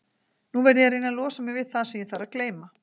Nú verð ég að reyna að losa mig við það sem ég þarf að gleyma.